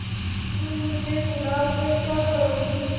अलगूमुझे बुला कर क्या करोगी